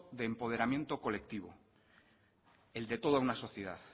de empoderamiento colectivo el de toda una sociedad